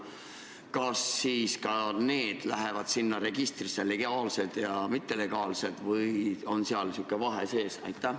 Kas ka need lähevad sinna registrisse, legaalselt ja mittelegaalselt, või on seal sihuke vahe sees?